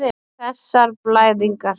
Og þessar blæðingar.